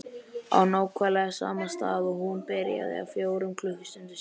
Á nákvæmlega sama stað og hún byrjaði. fjórum klukkustundum síðar.